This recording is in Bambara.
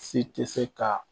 Si tɛ se ka